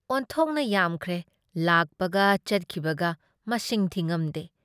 ꯑꯣꯟꯊꯣꯛꯅ ꯌꯥꯝꯈ꯭ꯔꯦ ꯂꯥꯛꯄꯒ ꯆꯠꯈꯤꯕꯒ ꯃꯁꯤꯡ ꯊꯤꯉꯝꯗꯦ ꯫